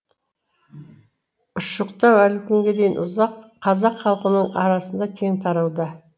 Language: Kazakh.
ұшықтау әлі күнге дейін қазақ халқының арасында кең тарауда